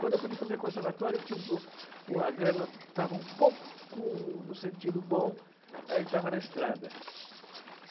Quando eu pude fazer conservatório, que tinha um pouco, o a grana estava um pouco no sentido bom, aí estava na estrada.